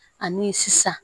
Ani sisan